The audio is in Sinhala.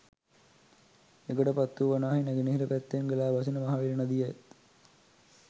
එගොඩපත්තුව වනාහි නැගෙනහිර පැත්තෙන් ගලා බසින මහවැලි නදියත්